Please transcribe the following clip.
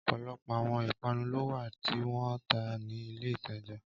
Ọpọlọpọ awọn ipanu lo wa ti wọn n ta ni ile itaja.